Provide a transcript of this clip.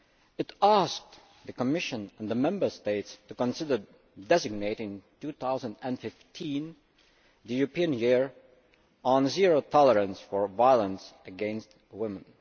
It asked the Commission and the Member States to consider designating 2015 the European Year on Zero Tolerance for Violence against Women.